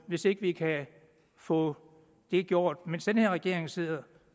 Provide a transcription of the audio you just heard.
hvis ikke vi kan få det gjort mens den her regering sidder